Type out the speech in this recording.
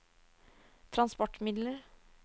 transportmidler